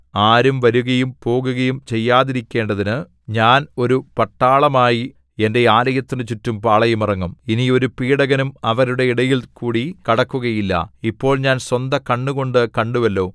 ആരും വരുകയും പോകുകയും ചെയ്യാതിരിക്കേണ്ടതിനു ഞാൻ ഒരു പട്ടാളമായി എന്റെ ആലയത്തിന് ചുറ്റും പാളയമിറങ്ങും ഇനി ഒരു പീഡകനും അവരുടെ ഇടയിൽകൂടി കടക്കുകയില്ല ഇപ്പോൾ ഞാൻ സ്വന്തകണ്ണുകൊണ്ടു കണ്ടുവല്ലോ